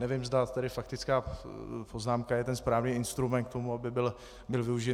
Nevím, zda tedy faktická poznámka je ten správný instrument k tomu, aby byl využit.